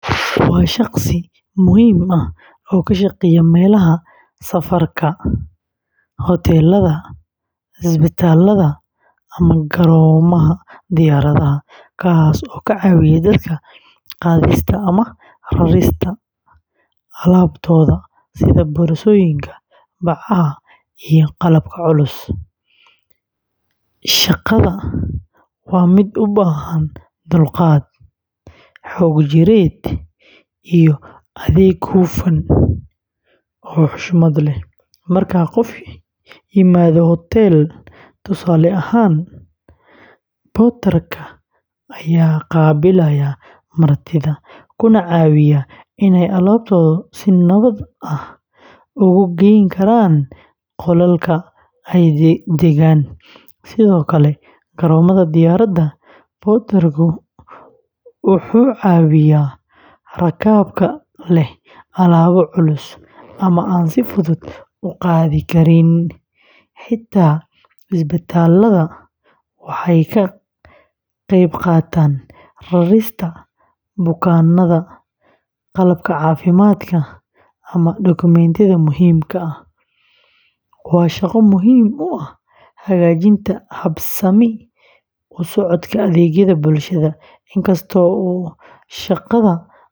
Waa shaqsi muhiim ah oo ka shaqeeya meelaha safarka, hoteellada, isbitaallada, ama garoomada diyaaradaha, kaas oo ka caawiya dadka qaadista ama rarista alaabtooda sida boorsooyinka, bacaha, iyo qalabka culus. Shaqada waa mid u baahan dulqaad, xoog jireed, iyo adeeg hufan oo xushmad leh. Marka qofku yimaado hotel, tusaale ahaan, ayaa qaabilaya martida, kuna caawiya inay alaabtooda si nabad ah ugu geyn karaan qolka ay degayaan. Sidoo kale garoomada diyaaradaha, porter-ku wuxuu caawiyaa rakaabka leh alaabo culus ama aan si fudud u qaadi karin. Xitaa isbitaalada, waxay ka qeybqaataan rarista bukaannada, qalabka caafimaadka, ama dokumentiyada muhiimka ah. Waa shaqo muhiim u ah hagaajinta habsami u socodka adeegyada bulshada. In kasta oo shaqada mararka qaar.